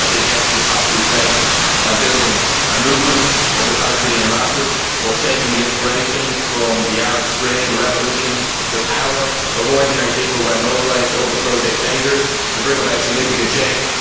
I think emphasis has to be placed on building a movement of the Palestinian masses on taking inspiration from the Arab Spring, the revolutions, and the power of ordinary people when mobilised to overthrow dictators to bring about significant change